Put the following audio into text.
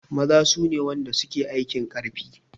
Maza sune wanda suke aikin karfi